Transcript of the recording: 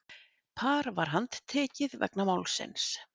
Par var handtekið vegna málsins